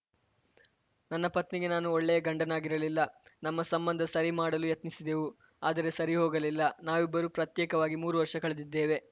ನನ್ನ ಪತ್ನಿಗೆ ನಾನು ಒಳ್ಳೆಯ ಗಂಡನಾಗಿರಲಿಲ್ಲ ನಮ್ಮ ಸಂಬಂಧ ಸರಿ ಮಾಡಲು ಯತ್ನಿಸಿದೆವು ಆದರೆ ಸರಿ ಹೋಗಲಿಲ್ಲ ನಾವಿಬ್ಬರೂ ಪ್ರತ್ಯೇಕವಾಗಿ ಮೂರು ವರ್ಷ ಕಳೆದಿದ್ದೇವೆ